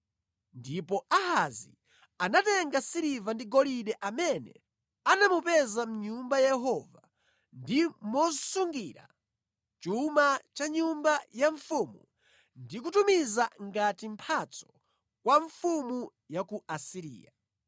Ndipo Ahazi anatenga siliva ndi golide amene anamupeza mʼNyumba ya Yehova ndi mosungira chuma cha nyumba ya mfumu ndi kutumiza ngati mphatso kwa mfumu ya ku Asiriya.